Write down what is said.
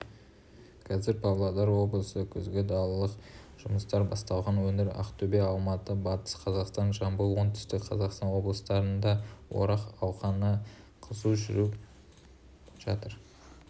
қазір павлодар облысы күзгі-далалық жұмыстар басталған өңір ақтөбе алматы батыс қазақстан жамбыл оңтүстік қазақстан облыстарында орақ науқаны қызу жүріп жатыр